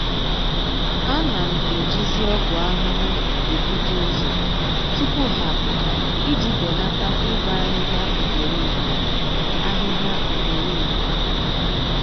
A na m ejizi ọgwụ ahụhụ ebuta ụzọ tupu ha apụta iji belata ịbọ ahịhịa ugboro ugboro ahịhịa ugboro ugboro